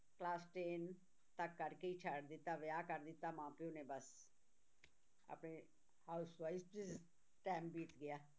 Class ten ਤੱਕ ਕਰਕੇ ਹੀ ਛੱਡ ਦਿੱਤਾ ਵਿਆਹ ਕਰ ਦਿੱਤਾ ਮਾਂ ਪਿਓ ਨੇ ਬਸ ਆਪਣੇ housewife 'ਚ time ਬੀਤ ਗਿਆ